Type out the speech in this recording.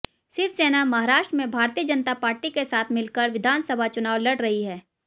शिवसेना महाराष्ट्र में भारतीय जनता पार्टी के साथ मिलकर विधानसभा चुनाव लड़ रही है